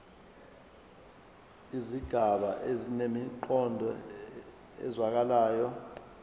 izigaba zinemiqondo ezwakalayo